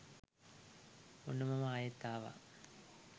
ඔන්න මම ආයෙත් ආවා